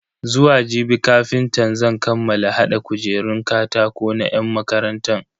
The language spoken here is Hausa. Zuwa jibi kafintan zan kammala hada kujerun katako na yan makarantan.